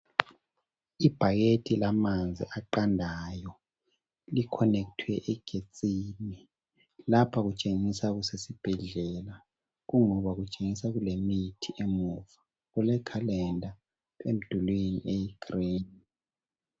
Ibhakede lamanzi aqandayo likhonethwe egetsini. Lapha kutshengisa kusesibhedlela kungoba kutshengisa kulemithi emuva. Kulekhalenda emdulini eyigreen.